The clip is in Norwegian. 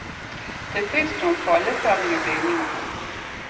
Det fins noen falleferdige bygninger her.